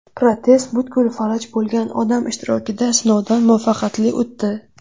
Protez butkul falaj bo‘lgan odam ishtirokida sinovdan muvaffaqiyatli o‘tdi.